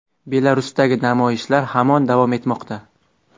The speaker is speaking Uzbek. Belarusdagi namoyishlar hamon davom etmoqda.